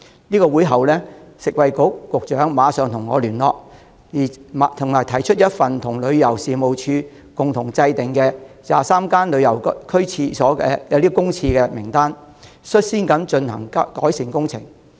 在會後，食物及衞生局局長馬上與我聯絡，並提出一份與旅遊事務署共同擬定的旅遊區公廁名單，率先針對名單上的23間公廁進行改善工程。